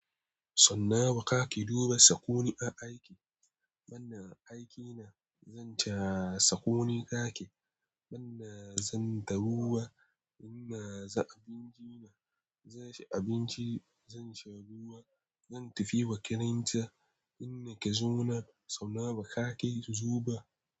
So nawa ka ke duba sakoni a aiki? Manna aikina, zan ta sakoni ka ke. Manna zan taruwa, ina za abinci na. Zai ci abinci, zan sharuwa. Zan tafi wa karanta. Inna ka zo na, so nawa ka ke zuba?